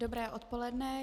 Dobré odpoledne.